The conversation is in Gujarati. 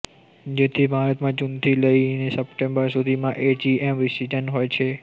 તેથી ભારતમાં જૂનથી લઈને સપ્ટેમ્બર સુધીમાં એજીએમ સિઝન હોય છે